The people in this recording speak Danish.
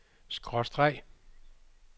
skråstreg